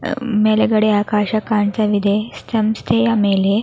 ಮೇಲ್ಗಡೆ ಆಕಾಶ ಕಾಣ್ತಾ ಇದೆ ಸಂಸ್ಥೆಯ ಮೇಲೆ --